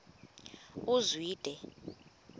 uzwide